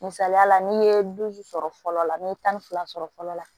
Misaliyala n'i ye dusu sɔrɔ fɔlɔ la n'i ye tan ni fila sɔrɔ fɔlɔ la